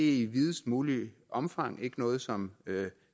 i videst mulige omfang ikke noget som